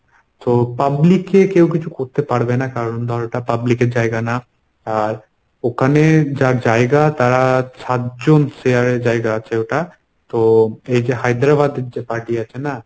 তো publicly কেউ কিছু করতে পারবে না কারণ ধর ওটা public এর জায়গা না। আর ওখানে যার জায়গা তারা সাতজন share এ জায়গা আছে ওটা। তো এই যে হায়দ্রাবাদ যে party আছে না